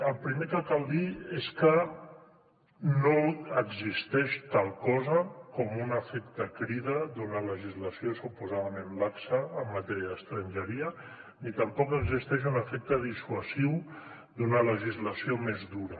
el primer que cal dir és que no existeix tal cosa com un efecte crida d’una legislació suposadament laxa en matèria d’estrangeria ni tampoc existeix un efecte dissuasiu d’una legislació més dura